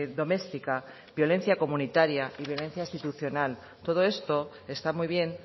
doméstica violencia comunitaria y violencia institucional todo esto está muy bien